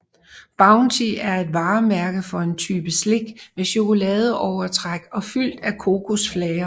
Bounty er et varemærke for en type slik med chokoladeovertræk og fyld af kokosflager